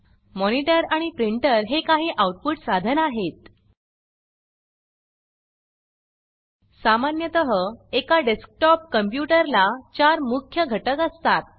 monitor आणि printer हे काही आउटपुट साधन आहेत सामान्यतः एका डेस्कटॉप कॉम्प्यूटर ला 4 मुख्य घटक असतात